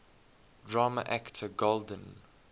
drama actor golden